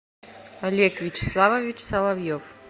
олег вячеславович соловьев